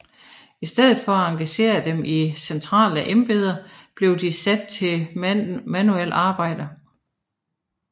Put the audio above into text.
I stedet for at engagere dem i centrale embeder blev de sat til manuelt arbejde